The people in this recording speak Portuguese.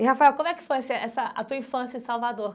E, Rafael, como é que foi assim essa a tua infância em Salvador?